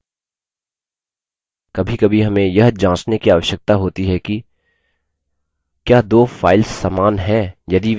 कभीकभी हमें यह जाँचने की आवश्यकता होती है कि क्या दो files समान हैं यदि वे समान हैं तो हम उनमें से एक डिलीट कर सकते हैं